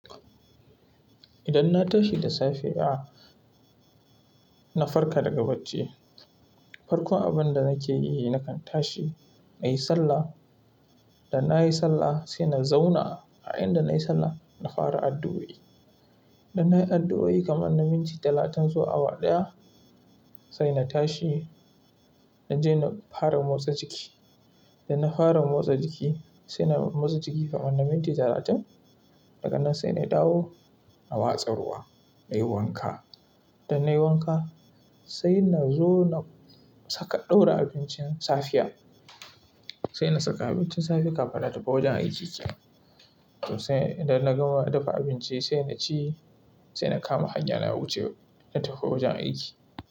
Idan na tashi da safe, na farka daga bacci. Farkon abin da nake yi nakan tashi na yi sallah. Da na yi sallah sai na zauna a inda na yi sallah na fara addu'o'i. Da na yi addu'o'i kamar na minti talatin zuwa awa ɗaya, sai na tashi don je na fara motsa jiki. Da na fara motsa jiki sai na motsa jiki kamar na minti talatin, daga nan sai na dawo a watsa ruwa na yi wanka. Da na yi wanka sai na zo na saka ɗaura abincin safiya. Sai na saka abincin safe kafin na tafi wajen aiki. Toh sai inda na gama dafa abinci sai na ci sai na kama hanya na na wuce na tafi wajen aiki.